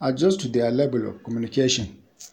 adjust to their level of communication